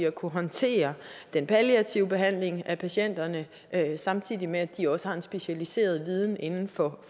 kunne håndtere den palliative behandling af patienterne samtidig med at de også har en specialiseret viden inden for